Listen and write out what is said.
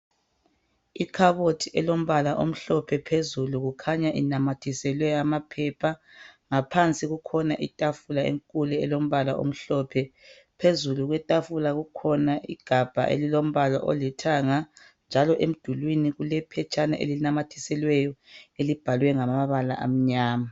Ikhabothi elombala omhlophe phezulu kukhanya inamathiselwe amaphepha ngaphansi kukhona itafula enkulu elombala omhlophe phezulu kwetafula kukhona igabha elilombala olithanga njalo emdulwini kulephetshana elinamathiselweyo elibhalwe ngamabala amnyama.